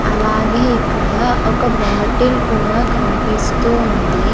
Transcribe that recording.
అలాగే ఇక్కడ ఒక బాటిల్ కూడా కన్పిస్తూ ఉంది.